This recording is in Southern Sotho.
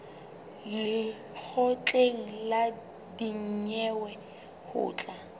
lekgotleng la dinyewe ho tla